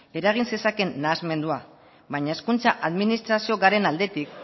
eragin zezakeen nahasmendua baina hezkuntza administrazioa garen aldetik